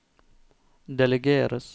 delegeres